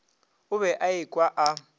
o be a ekwa a